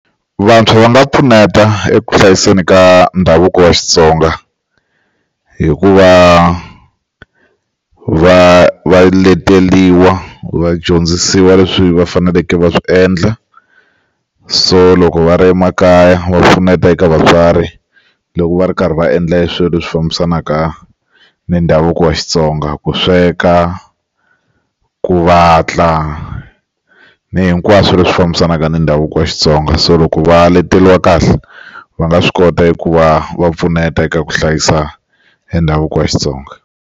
Vantshwa va nga pfuneta eku hlayiseni ka ndhavuko wa Xitsonga hikuva va va leteliwa vadyondzisiwa leswi va faneleke va swi endla so loko va ri emakaya va pfuneta eka vatswari loko va ri karhi va endla hi swilo leswi fambisanaka ni ndhavuko wa Xitsonga ku sweka ku vatla ni hinkwaswo leswi fambisanaka na ndhavuko wa Xitsonga so loko va leteliwa kahle va nga swi kota ku va va pfuneta eka ku hlayisa endhavuko wa Xitsonga.